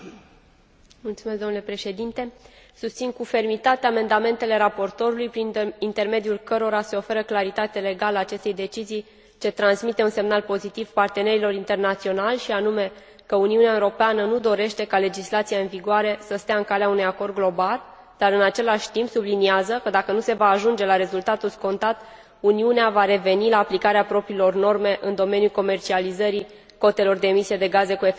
Susțin cu fermitate amendamentele raportorului prin intermediul cărora se oferă claritate legală acestei decizii ce transmite un semnal pozitiv partenerilor internaționali și anume că Uniunea Europeană nu dorește ca legislația în vigoare să stea în calea unui acord global, dar, în același timp, subliniază că, dacă nu se va ajunge la rezultatul scontat, Uniunea va reveni la aplicarea propriilor norme în domeniul comercializării cotelor de emisie de gaze cu efect de seră și pentru sectorul aviației.